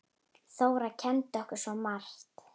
Þóra kenndi okkur svo margt.